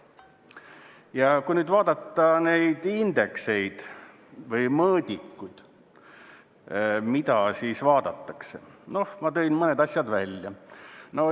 Ja kui nüüd vaadata neid indekseid või mõõdikuid, mida siis vaadatakse, siis noh, ma tõin mõned asjad välja.